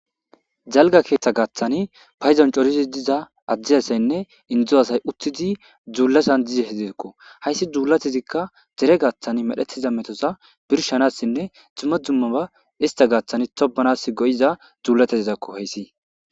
jalga keeththa gaaththani payizon corizi diza addi asaynne indzu asay uttidi dzuullasan dize hedzeekko hayssi dzuulatezikka dere gaaththan medhetiza metoza birshanassinne xume dzumma ba ista gaaththani tobanas go7iza juulatezizakko hayssi